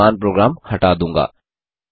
मैं वर्तमान प्रोग्राम हटा दूँगा